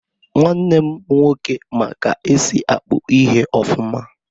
Nwannem nwoke ma ka esi akpụ ihe ofuma.